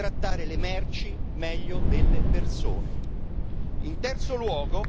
Noi non consentiremo di trattare le merci meglio delle persone.